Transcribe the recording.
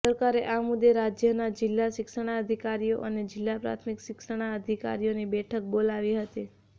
સરકારે આ મુદ્દે રાજ્યના જિલ્લા શિક્ષણાધિકારીઓ અને જિલ્લા પ્રાથમિક શિક્ષણાધિકારીઓની બેઠક બોલાવી હતી